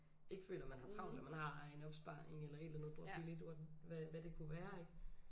Ikke føler man har travlt og man har en opsparing eller et eller andet bor billigt what hvad det kunne være ikke